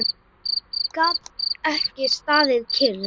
Gat ekki staðið kyrr.